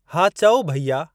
हा चओ भैया।